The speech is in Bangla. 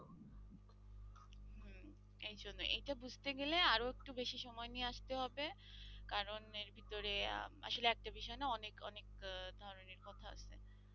এই জন্য এইটা বুঝতে গেলে আরো একটু বেশি সময় নিয়ে আসতে হবে কারণ এর ভেতরে আসলে একটা বিষয় না অনেক অনেক আহ কথা আছে।